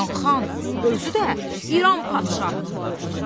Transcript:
mən xan, özü də İran padşahının qohumu!